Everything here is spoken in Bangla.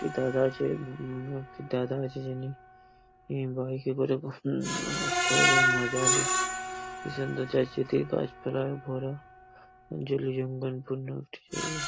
একটি দাদা আছে ভু উম ভু একটি দাদা আছে যিনি বাইক -এ করে উহম না শহরের মাজালি কি সুন্দর যাচ্ছে দিয়ে গাছপালায় ভরা জলে জঙ্গলপূর্ণ একটি জায়গা।